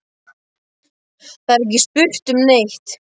Það er ekki spurt um neitt.